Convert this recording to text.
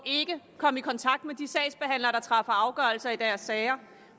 komme i kontakt med de sagsbehandlere der træffer afgørelser i deres sager